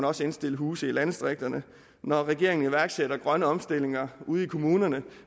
også indstilles huse i landdistrikterne og når regeringen iværksætter grøn omstilling ude i kommunerne